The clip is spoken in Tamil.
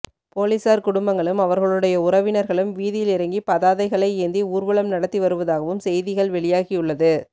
போலீசார் குடும்பங்களும் அவர்களுடைய உறவினர்களும் வீதியில் இறங்கி பதாதைகளை ஏந்தி ஊர்வலம் நடத்தி வருவதாகவும் செய்திகள் வெளியாகியுள்ளது